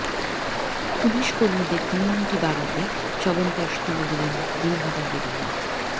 police কর্মীদের immunity বাড়াতে চবনপ্রাস তুলে দিলেন দিনহাটার বিধায়ক